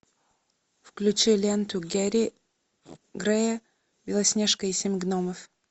включи ленту гэри грея белоснежка и семь гномов